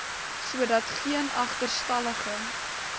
sodat geen agterstallige